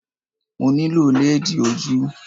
Mo nílò lẹ́ẹ̀dì ojú